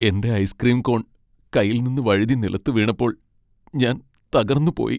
എന്റെ ice cream cone കൈയിൽനിന്ന് വഴുതി നിലത്ത് വീണപ്പോൾ ഞാൻ തകർന്നുപോയി.